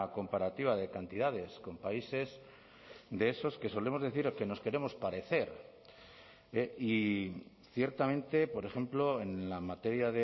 comparativa de cantidades con países de esos que solemos decir que nos queremos parecer y ciertamente por ejemplo en la materia